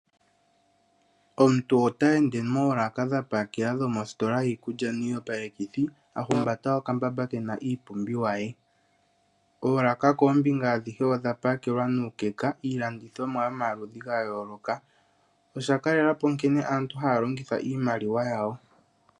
Omuntu ota ende moolaka dha pakela dhomositola yiikulya niiyopalekithi. A humbata okambamba ke na iipumbiwa ye. Oolaka koombinga adhihe odha pakelwa nuukeka iilandithomwa yomaludhi ga yooloka. Osha kalela po nkene aantu haya longitha iimaliwa yawo.